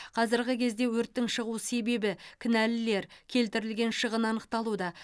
қазіргі кезде өрттің шығу себебі кінәлілер келтірілген шығын анықталуда